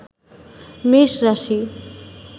মেষ রাশি